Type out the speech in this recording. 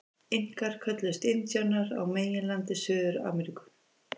Inkar kölluðust indíánar á meginlandi Suður-Ameríku.